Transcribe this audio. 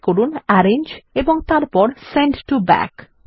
click করুন arrange এবং তারপর সেন্ড টো ব্যাক